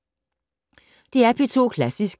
DR P2 Klassisk